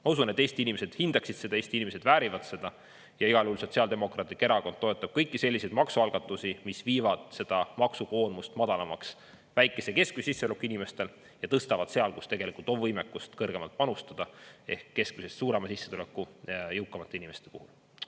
Ma usun, et Eesti inimesed hindaksid seda, Eesti inimesed väärivad seda ja igal juhul Sotsiaaldemokraatlik Erakond toetab kõiki selliseid maksualgatusi, mis viivad seda maksukoormust madalamaks väikese ja keskmise sissetulekuga inimestel ja tõstavad seal, kus tegelikult on võimekust kõrgemalt panustada, ehk keskmisest suurema sissetuleku, jõukamate inimeste puhul.